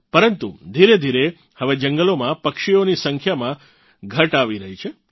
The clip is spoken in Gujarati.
પરંતુ ધીરેધીરે હવે જંગલોમાં પક્ષીઓની સંખ્યામાં ઘટ આવી રહી છે